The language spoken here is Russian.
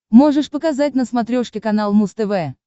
можешь показать на смотрешке канал муз тв